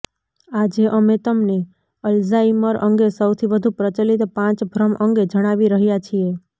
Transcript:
આજે અમે તમને અલ્ઝાઇમર અંગે સૌથી વધુ પ્રચલિત પાંચ ભ્રમ અંગે જણાવી રહ્યાં છીએ